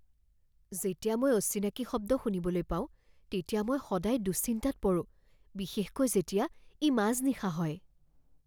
যেতিয়া মই অচিনাকি শব্দ শুনিবলৈ পাওঁ তেতিয়া মই সদায় দুশ্চিন্তাত পৰোঁ, বিশেষকৈ যেতিয়া ই মাজনিশা হয়।